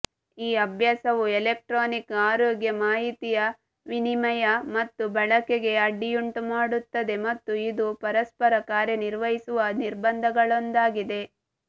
ಈ ಅಭ್ಯಾಸವು ಎಲೆಕ್ಟ್ರಾನಿಕ್ ಆರೋಗ್ಯ ಮಾಹಿತಿಯ ವಿನಿಮಯ ಮತ್ತು ಬಳಕೆಗೆ ಅಡ್ಡಿಯುಂಟುಮಾಡುತ್ತದೆ ಮತ್ತು ಇದು ಪರಸ್ಪರ ಕಾರ್ಯನಿರ್ವಹಿಸುವ ನಿರ್ಬಂಧಗಳಲ್ಲೊಂದಾಗಿದೆ